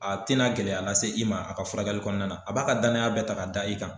A tɛna gɛlɛya lase i ma a ka furakɛli kɔnɔna na a b'a ka danaya bɛɛ ta k'a da i kan.